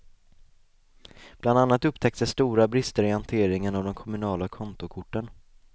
Bland annat upptäcktes stora brister i hanteringen av de kommunala kontokorten.